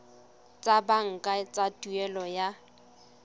tsa banka tsa tuelo ya